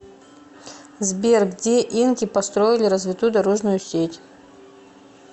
сбер где инки построили развитую дорожную сеть